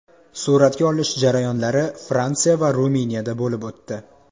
Suratga olish jarayonlari Fransiya va Ruminiyada bo‘lib o‘tdi.